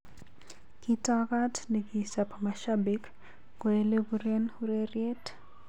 Kitokot ne kichap mashabik ko elepuren ureriet.